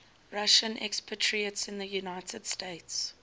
russian expatriates in the united states